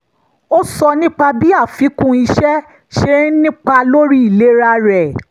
ó sọ nípa bí àfikún iṣẹ́ ṣe ń nípa lórí ìlera rẹ̀